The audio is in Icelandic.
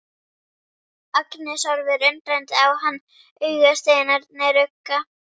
Agnes horfir undrandi á hann, augasteinarnir rugga.